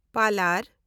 ᱯᱟᱞᱟᱨ